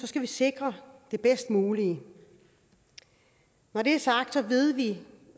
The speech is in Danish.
skal vi sikre det bedst mulige når det er sagt ved vi